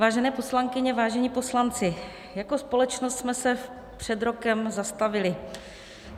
Vážené poslankyně, vážení poslanci, jako společnost jsme se před rokem zastavili.